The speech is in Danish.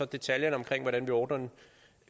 detaljerne omkring hvordan vi ordner den